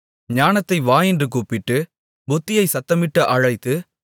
ஞானத்தை வா என்று கூப்பிட்டு புத்தியைச் சத்தமிட்டு அழைத்து